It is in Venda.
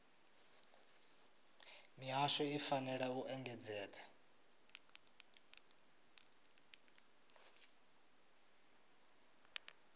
mihasho i fanela u engedzedza